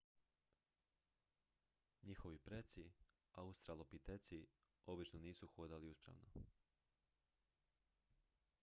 njihovi preci australopiteci obično nisu hodali uspravno